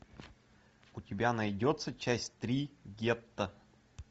у тебя найдется часть три гетто